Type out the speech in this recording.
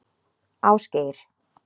Ásgeir